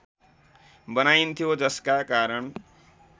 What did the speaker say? बनाइन्थ्यो जसका कारण